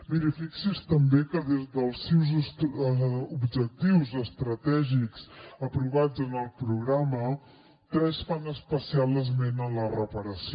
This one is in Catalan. miri fixi’s també que dels deu objectius estratègics aprovats en el programa tres fan especial esment a la reparació